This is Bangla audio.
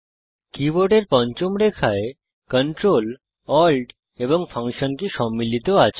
কীবোর্ডের পঞ্চম রেখায় Ctrl Alt এবং ফাংশন কি সম্মিলিত আছে